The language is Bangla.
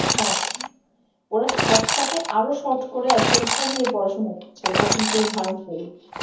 হ্যা ওরা short টাকে আরও short করে একদম কমিয়ে পড়াশুনা হচ্ছে এটা কিন্তু harmful ।